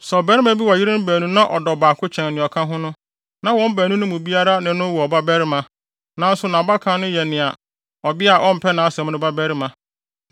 Sɛ ɔbarima wɔ yerenom baanu na ɔdɔ ɔbaako kyɛn nea ɔka ho no, na wɔn baanu no mu biara ne no wɔ ɔbabarima, nanso nʼabakan no yɛ ɔbea a ɔmpɛ nʼasɛm no babarima,